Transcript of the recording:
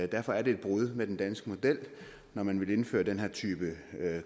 derfor er det et brud med den danske model når man vil indføre den her type